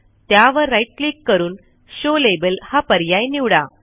त्यावर right click करून show label हा पर्याय निवडा